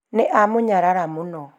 nĩ amũnyarara mũno